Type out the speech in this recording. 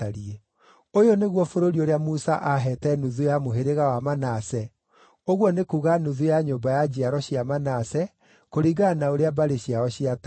Ũyũ nĩguo bũrũri ũrĩa Musa aaheete nuthu ya mũhĩrĩga wa Manase, ũguo nĩ kuuga nuthu ya nyũmba ya njiaro cia Manase, kũringana na ũrĩa mbarĩ ciao ciatariĩ: